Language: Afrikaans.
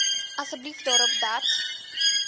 asseblief daarop dat